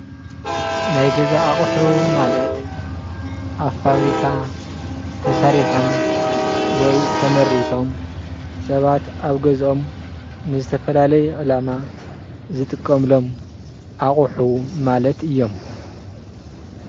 ናይ ገዛ ኣቁሑ ማለት ኣብ ፋብሪካ ተሰሪሖም ወይ ተመሪቶም ሰባት ኣብ ገዝኦም ንዝተፈላለዩ ዕላማ ዝጥቀሙሉም ኣቁሑ ማለት እዮም።